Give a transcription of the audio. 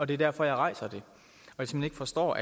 det er derfor jeg rejser det jeg forstår